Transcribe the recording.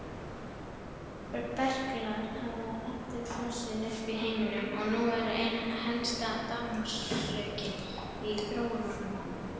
Berklar hafa aftur blossað upp í heiminum og eru nú ein helsta dánarorsökin í þróunarlöndunum.